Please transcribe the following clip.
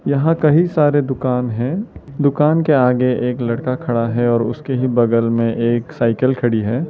यहां कई सारे दुकान है दुकान के आगे एक लड़का खड़ा है और उसके ही बगल में एक साइकिल खड़ी है।